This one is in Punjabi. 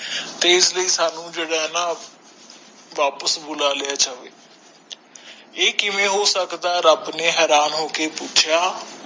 ਤੇ ਅਸਲਿਏ ਸਾਨੂ ਜੇੜਾ ਨਾ ਵਾਪਸ ਬੁਲਾ ਲਿਯਾ ਜਾਵੇ ਏਹ ਕਿਵੇਂ ਹੋ ਸਕਦਾ ਰਬ ਨੇ ਹੈਰਾਨ ਹੋਕੇ ਪੁਛਿਆ